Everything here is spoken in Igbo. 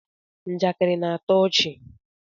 njakịrị na-atọ ọchị